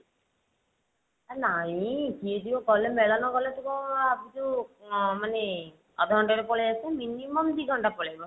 ଆ ନାଇ କିଏ ଯିବ ମେଳଣ ଗଲେ ତୁ କଣ ଭବିଛୁ ଅ ମାନେ ଅଧଘଣ୍ଟା ରେ ପଳେଇ ଆସିବୁ minimum ଦି ଘଣ୍ଟା ପଳେଇବ।